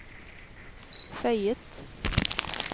føyet